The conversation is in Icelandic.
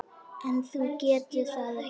En þú getur það ekki.